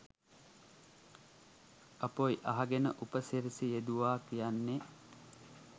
අපොයි අහගෙන උප සිරැසි යෙදුවා කියන්නේ